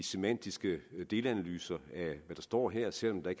semantiske delanalyser af hvad der står her selv om der